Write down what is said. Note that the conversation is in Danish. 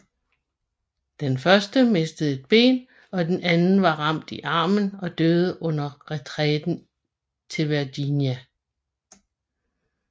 Den første mistede et ben og den anden var ramt i armen og døde under retræten til Virginia